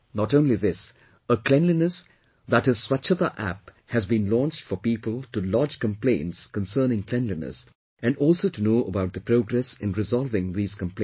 Not only this, a cleanliness, that is Swachchhata App has been launched for people to lodge complaints concerning cleanliness and also to know about the progress in resolving these complaints